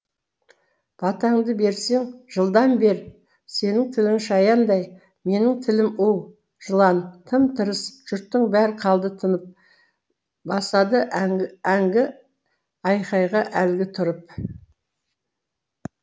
батаңды берсең жылдам бер сенің тілің шаяндай менің тілім у жылан тым тырыс жұрттың бәрі қалды тынып басады әңгі әңгі айқайға әлгі тұрып